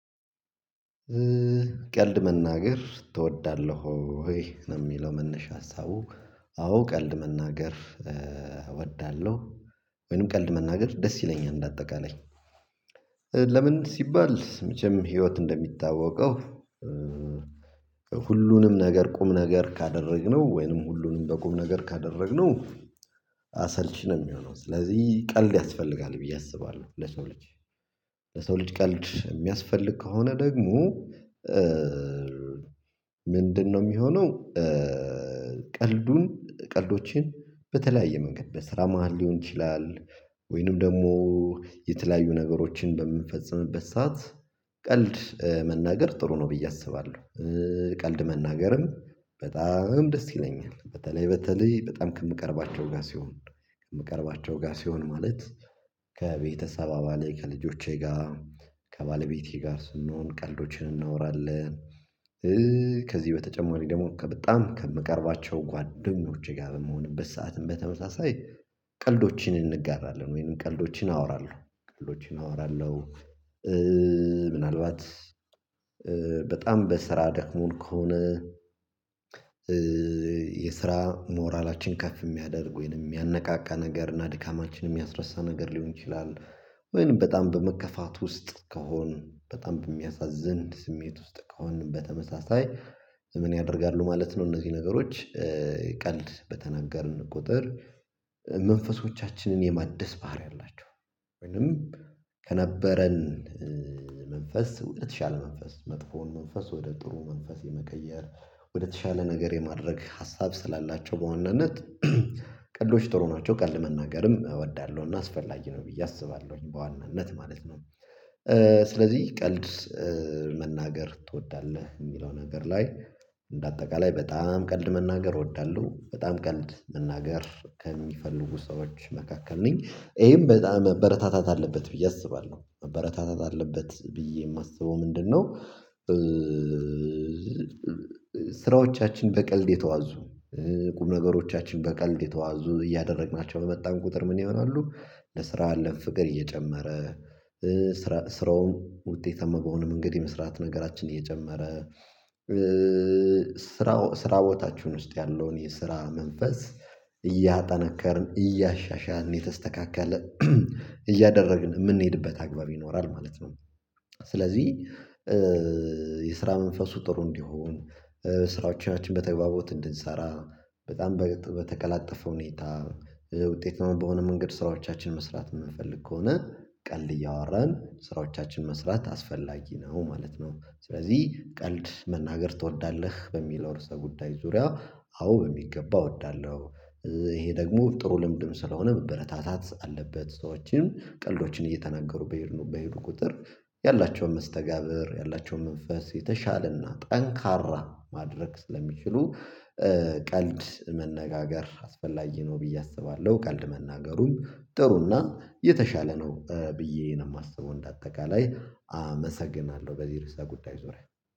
ቀልድ መናገር ትወዳለህ ወይ ነው የሚለው መነሻ ሀሳቡ አዎ ቀልድ መናገር እወዳለሁ ወይንም ቀልድ መናገር ደስ ይለኛል እንደ አጠቃላይ ለምን ሲባል መቼም ህይወት እንደሚታወቀው ከሁሉንም ነገር ቁም ነገር ካደረግነው ወይንም ሁሉንም በቁም ነገር ካደረግነው አሰልቺ ነው የሚሆነው ስለዚህ ቀልድ ያስፈልጋል ብዬ አስባለሁ ለሰው ልጅ ለሰው ልጅ ቀልድ የሚያስፈልግ ከሆነ ደግሞ ምንድነው የሚሆነው ቀልዱን ቀልዶችን በተለያየ መንገድ በስራ መሃል ሊሆን ይችላል ወይንም ደግሞ የተለያዩ ነገሮችን በምንፈጽምበት ሰዓት ቀልድ መናገር ጥሩ ነው ብዬ አስባለሁ ቀልድ መናገርም በጣም ደስ ይለኛል በተለይ በተለይ በጣም ከምቀርባቸው ጋር ሲሆን ከምቀርባቸው ጋር ሲሆን ማለት ከቤተሰብ አባላት ከልጆቼ ጋር ከባለቤቴ ጋር ስንሆን ቀልዶችን እናወራለን ከዚህ በተጨማሪ ደግሞ በጣም ከምቀርባቸው ጓደኞቼ ጋር በምሆንበት ሰዓትም በተመሳሳይ ቀልዶችን እንጋራለን ወይንም ቀልዶችን አወራለሁ ቀልዶችን አወራለሁ ምናልባት በጣም በስራ ደክሞን ከሆነ የስራ ሞራላችን ከፍ የሚያደርግ ወይንም የሚያነቃቃ ነገር እና ድካማችን የሚያስረሳ ነገር ሊሆን ይችላል ወይንም በጣም በመከፋት ውስጥ ከሆንን በጣም በሚያሳዝን ስሜት ውስጥ ከሆነ በተመሳሳይ ዘመን ያደርጋሉ ማለት ነው እነዚህ ነገሮች ቀልድ በተናገርን ቁጥር መንፈሶቻችንን የማደስ ባህሪ አላቸው ወይንም ከነበረን መንፈስ ወደተሻለ መንፈስ መጥፎውን መንፈስ ወደ ጥሩ መንፈስ የመቀየር ወደተሻለ ነገር የማድረግ ሀሳብ ስላላቸው በዋናነት ቀልዶች ጥሩ ናቸው ቀልድ መናገርም እወዳለሁና አስፈላጊ ነው ብዬ አስባለሁኝ በዋናነት ማለት ነው ስለዚህ ቀልድ መናገር ትወዳለህ የሚለው ነገር ላይ እንደ አጠቃላይ በጣም ቀልድ መናገር እወዳለሁ በጣም ቀልድ መናገር ከሚፈልጉ ሰዎች መካከል ነኝ ይሄም በጣም መበረታታት አለበት ብዬ አስባለሁ መበረታታት አለበት ብዬ የማስበው ምንድነው ስራዎቻችን በቀልድ የተዋዙ ቁም ነገሮቻችን በቀልድ የተዋዙ እያደረግናቸው በመጣን ቁጥር ምን ይሆናሉ ለስራ ያለን ፍቅር እየጨመረ ስራውን ውጤታማ በሆነ መንገድ የመስራት ነገራችን እየጨመረ ስራ ስራ ቦታችሁን ውስጥ ያለውን የስራ መንፈስ እያጠነከርን እያሻሻልን የተስተካከለ እያደረግን የምንሄድበት አግባብ ይኖራል ማለት ነው ስለዚህ የስራ መንፈሱ ጥሩ እንዲሆን ስራዎቻችን በተግባቦት እንድንሰራ በጣም በተቀላጠፈ ሁኔታ ውጤታማ በሆነ መንገድ ስራዎቻችን መስራት የምንፈልግ ከሆነ ቀልድ እያወራን ስራዎቻችን መስራት አስፈላጊ ነው ማለት ነው ስለዚህ ቀልድ መናገር ትወዳለህ በሚለው ርዕሰ ጉዳይ ዙሪያ አዎ በሚገባ እወዳለሁ ይሄ ደግሞ ጥሩ ልምድም ስለሆነ መበረታታት አለበት ሰዎችን ቀልዶችን እየተናገሩ በሄዱ በሄዱ ቁጥር ያላቸውን መስተጋብር ያላቸውን መንፈስ የተሻለና ጠንካራ ማድረግ ስለሚችሉ ቀልድ መነጋገር አስፈላጊ ነው ብዬ አስባለሁ ቀልድ መናገሩን ጥሩና የተሻለ ነው ብዬ ነው የማስበው እንደ አጠቃላይ አመሰግናለሁ በዚህ ርዕስ ጉዳይ ዙሪያ።